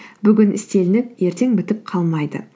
бүгін істелініп ертең бітіп қалмайды